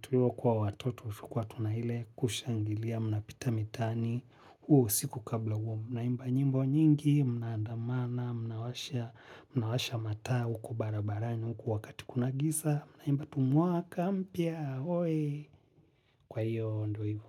tulivyokuwa watoto tulikuwa tuna ile kushangilia mnapita mitani huo siku kabla huo mnaimba nyimbo nyingi mnaandamana mnawasha mnawasha mataa huku barabarani huku wakati kuna giza mnaimba tu mwaka mpya kwa hiyo ndo hivo.